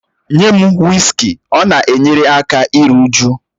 Nye m wịskị, ọ na-enyere aka iru újú